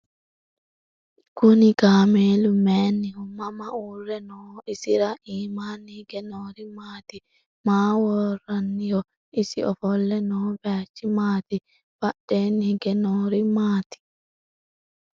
Kunni kaammelu mayiinniho? Mama uure nooho? Isira iimmanni hige noori maatti? Maa woraanniho? Isi offolle noo bayiichchi maati? Badheenni hige noori maatti?